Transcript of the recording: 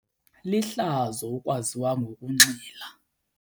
Lihlazo ukwaziwa ngokunxila.